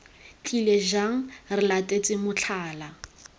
tlile jaana re latetse motlhala